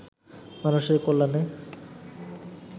মানুষের কল্যাণে